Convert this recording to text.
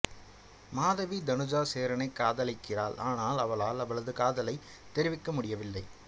மாதவி தனுஜா சேரனைக் காதலிக்கிறாள் ஆனால் அவளால் அவளது காதலை தெரவிக்க முடியவில்லை